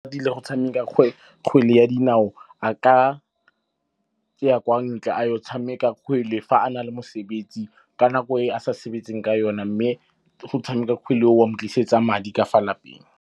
Tlile go tshameka kgwele ya dinao, a ka ya kwa ntle a yo tshameka kgwele fa a na le mosebetsi ka nako e a sa sebetseng ka yona. Mme go tshameka kgwele go a mo tlisetsa madi ka fa lapeng.